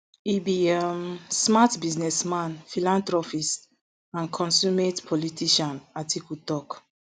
e be um smart businessman philanthropist and consumate politician atiku tok